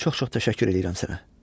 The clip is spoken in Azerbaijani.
Çox-çox təşəkkür eləyirəm sənə.